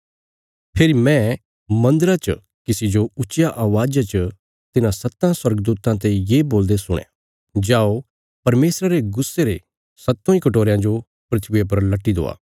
फेरी मैं मन्दरा च किसी जो ऊच्चिया अवाज़ा च तिन्हां सत्तां स्वर्गदूतां ते ये बोलदे सुणया जाओ परमेशरा रे गुस्से रे सत्तों इ कटोरयां जो धरतिया पर लटी दवा